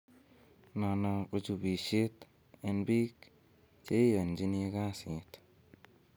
"Nono ko chubisiet en biik che iyochini kasiit."